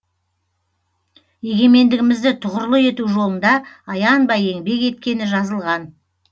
егемендігімізді тұғырлы ету жолында аянбай еңбек еткені жазылған